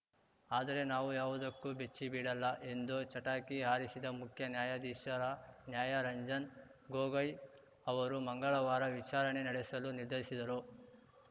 ಆದರೆ ನಾವು ಯಾವುದಕ್ಕೂ ಬೆಚ್ಚಿಬೀಳಲ್ಲ ಎಂದು ಚಟಾಕಿ ಹಾರಿಸಿದ ಮುಖ್ಯ ನ್ಯಾಯಾಧೀಶ ನ್ಯಾಯ ರಂಜನ್‌ ಗೊಗೋಯ್‌ ಅವರು ಮಂಗಳವಾರ ವಿಚಾರಣೆ ನಡೆಸಲು ನಿರ್ಧರಿಸಿದರು